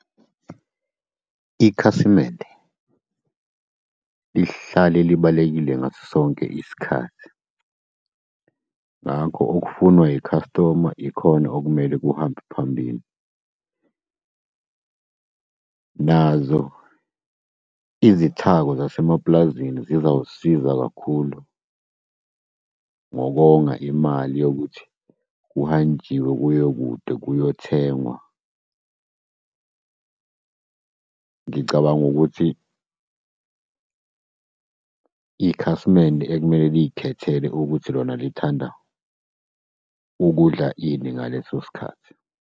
Ikhasimende lihlale libalulekile ngaso sonke isikhathi. Ngakho okufunwa i-customer ikhona okumele kuhambe phambili. Nazo izithako zasemapulazini zizawukuzisiza kakhulu, ngokonga imali yokuthi kuhanjiwe kuyiwe kude, kuyothengwa. Ngicabanga ukuthi ikhasimende ekumele liyikhethele ukuthi lona lithanda ukudla ini ngaleso sikhathi.